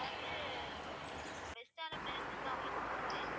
நான் வந்து best ஆன places தான் உங்களுக்கு சொல்றேன்